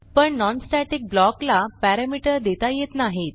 पण non static block ला parameter देता येत नाहीत